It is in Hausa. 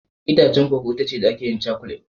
Itacen koko itace da ake yin cakulet